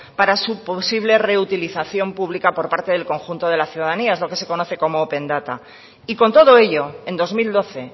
para su posible reutilización pública por parte del conjunto de la ciudadanía es lo que se conoce como open data y con todo ello en dos mil doce